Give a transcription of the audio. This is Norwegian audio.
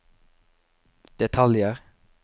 detaljer